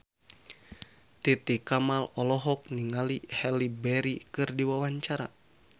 Titi Kamal olohok ningali Halle Berry keur diwawancara